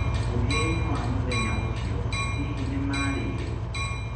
Mũthia-inĩ wa mũthenya ũcio, hihi nĩ maarĩire?